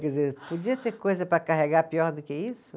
Quer dizer, podia ter coisa para carregar pior do que isso?